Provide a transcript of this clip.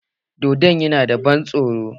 Dodon yana da ban tsoro